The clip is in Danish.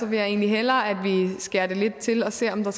vil jeg egentlig hellere at vi skærer det lidt til og ser om der